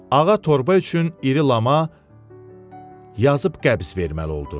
Ağa torba üçün iri lama yazıb qəbz verməli oldu.